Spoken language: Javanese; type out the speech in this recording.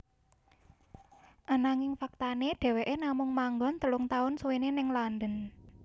Ananging faktané dheweké namung manggon telung taun suwené ning London